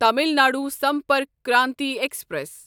Tamil Nadu Sampark Kranti express